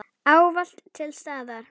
Ávallt til staðar.